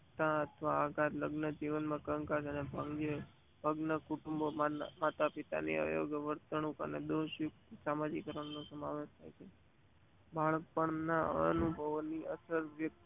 વક્તિ જીવન માં થતા અનુભવો સમશિયાઓ પડકારો મુશ્કેલો તેના વર્તન ને કડવા મામસો ની ભૂમિકા ભજવે છે. અસામાજિક કારણો ના પ્રારંભિક